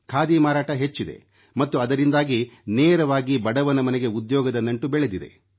ಖಾದಿ ಮಾರಾಟ ಹೆಚ್ಚಿದೆ ಮತ್ತು ಅದರಿಂದಾಗಿ ನೇರವಾಗಿ ಬಡವನ ಮನೆಗೆ ಉದ್ಯೋಗದ ನಂಟು ಬೆಳೆದಿದೆ